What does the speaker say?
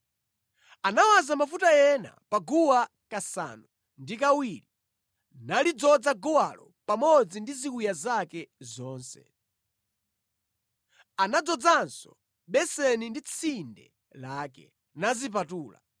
Anawaza mafuta ena pa guwa kasanu ndi kawiri, nalidzoza guwalo pamodzi ndi ziwiya zake zonse. Anadzozanso beseni ndi tsinde lake, nazipatula.